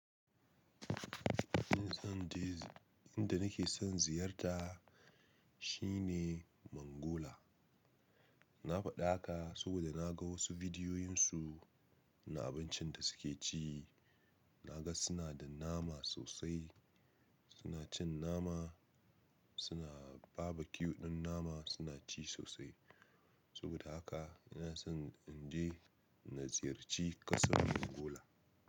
In zan je, inda nake son ziyarta shine Mongola. Na faɗa haka saboda na ga wasu bidiyoyin su na abincin da suke ci. Na ga suna da nama sosai, suna cin nama, suna babacue ɗin nama suna ci sosai. Saboda haka ina so in je na ziyarci ƙasar Mongola.